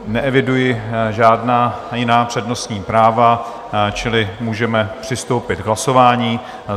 Neeviduji žádná jiná přednostní práva, čili můžeme přistoupit k hlasování.